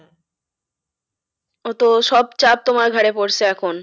তো সব চাপ তোমার ঘাড়ে পড়েসে এখন।